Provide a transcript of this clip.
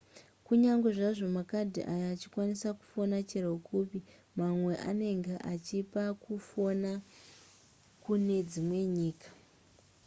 kunyange zvazvo makadhi aya achikwanisa kufona chero kupi mamwe anenge akachipa kufona kune dzimwe nyika